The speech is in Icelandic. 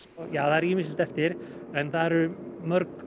það er ýmislegt eftir en það eru